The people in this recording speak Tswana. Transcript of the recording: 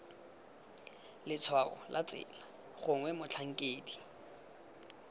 letshwao la tsela gongwe motlhankedi